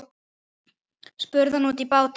spurði hann út í bláinn.